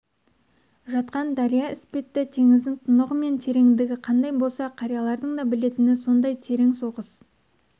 жатқан дария іспетті теңіздің тұнығы мен тереңдігі қандай болса қариялардың да білетіні соңдай терең соғыс